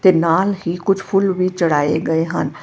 ਤੇ ਨਾਲ ਹੀ ਕੁਝ ਫੁੱਲ ਵੀ ਚੜਾਏ ਗਏ ਹਨ।